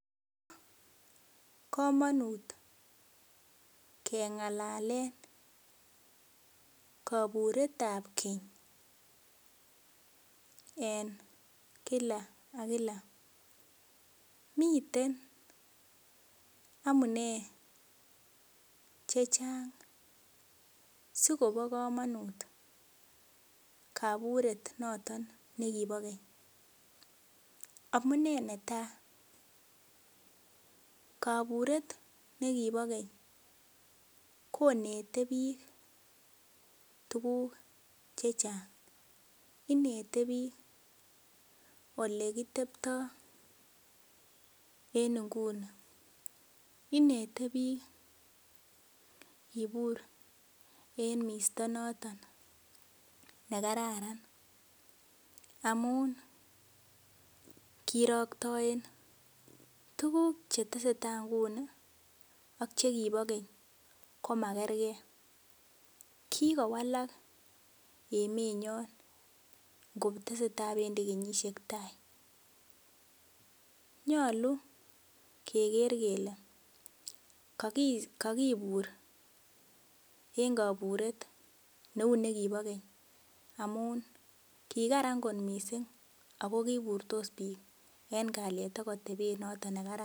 Komonut kengalalen koburetab Keny en Kila ak Kila miten amune chechang sikobo komonut koburet noton nekibo Keny. Amunee netaa koburet nekibo Keny konete biik tuguk chechang, inete biik ole kitepto en ngunii inete biik kibur en misto noton ne kararan amun ngiroktoen tuguk che tesetai ngunii ak chekibo Keny koma kergee kikowalak emenyon ngo tesetai kobendi kenyisiek tai nyoluu keger kelee kokibur en koburet ne uu nekibo Keny amun kikaran kot missing oo kiburtos biik en kalyet ak otebet noton ne kararan